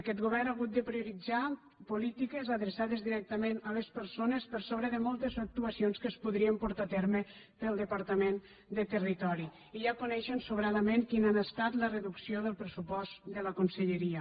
aquest go·vern ha hagut de prioritzar polítiques adreçades directa·ment a les persones per sobre de moltes actuacions que es podrien portar a terme pel departament de territo·ri i ja coneixen sobradament quina ha estat la reducció del pressupost de la conselleria